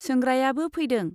सोंग्रायाबो फैदों।